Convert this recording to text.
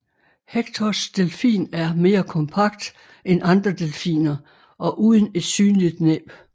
Hectors delfin er mere kompakt end andre delfiner og uden et synligt næb